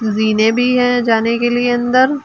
जीने भी हैं जाने के लिए अंदर।